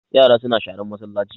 Yara suna sharan masallaci